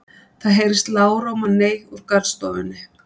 Það heyrist lágróma nei úr garðstofunni.